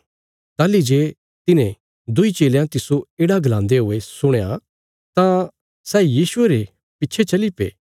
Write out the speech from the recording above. ताहली जे तिन्हे दुईं चेलयां तिस्सो येढ़ा गलान्दे हुये सुणया तां सै यीशुये रे पिच्छे चली पे